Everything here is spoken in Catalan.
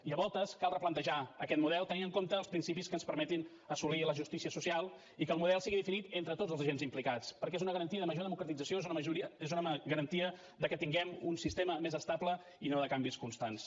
i a voltes cal replantejar aquest model tenint en compte els principis que ens permetin assolir la justícia social i que el model sigui definit entre tots els agents implicats perquè és una garantia de major democratització és una garantia que tinguem un sistema més estable i no de canvis constants